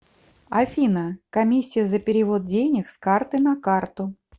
афина комиссия за перевод денег с карты на карту